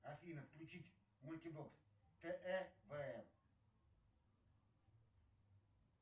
афина включить мультибокс тв вм